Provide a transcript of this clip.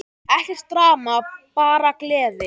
Ekkert drama, bara gleði!